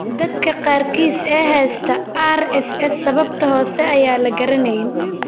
Dadka qaarkiis ee haysta RSS, sababta hoose ayaan la garanayn.